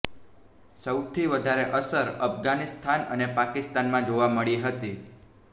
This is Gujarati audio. સૌથી વધારે અસર અફઘાનિસ્તાન અને પાકિસ્તાનમાં જોવા મળી હતી